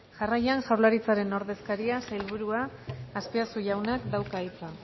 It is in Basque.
jarraian jaurlaritzaren ordezkaria sailburuak azpiazu jaunak dauka hitza